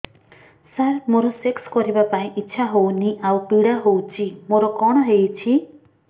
ସାର ମୋର ସେକ୍ସ କରିବା ପାଇଁ ଇଚ୍ଛା ହଉନି ଆଉ ପୀଡା ହଉଚି ମୋର କଣ ହେଇଛି